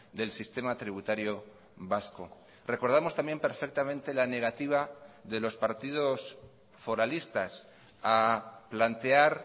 del sistema tributario vasco recordamos también perfectamente la negativa de los partidos foralistas a plantear